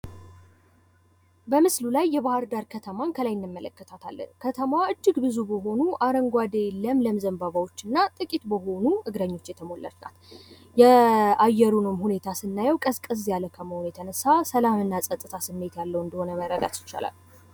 በምስሉ ላይ የባህርዳር ከተማን ከላይ እንመለከታታለን። ከተማዋ እጅግ ብዙ በሆኑ አረንጓዴ ለምለም ዘንባባዎች እና ጥቂት በሆኑ እግረኞች የተሞላች ናት። የአየሩንም ሁኔታ ስናየዉ ቀዝቀዝ ያለ ስለሆነ እጅግ ሰላም እና ፀጥታ ይስተዋላል።